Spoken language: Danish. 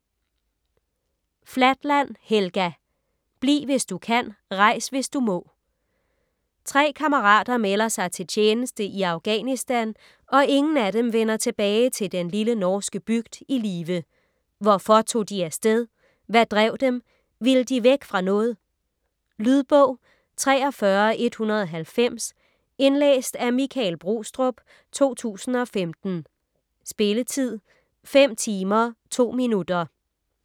Flatland, Helga: Bliv hvis du kan, rejs hvis du må Tre kammerater melder sig til tjeneste i Afghanistan, og ingen af dem vender tilbage til den lille norske bygd i live. Hvorfor tog de af sted? Hvad drev dem? Ville de væk fra noget? Lydbog 43190 Indlæst af Michael Brostrup, 2015. Spilletid: 5 timer, 2 minutter.